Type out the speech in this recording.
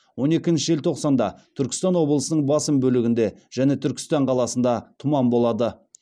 он екінші желтоқсанда түркістан облысының басым бөлігінде және түркістан қаласында тұман болады